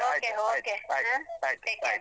Okay okay bye.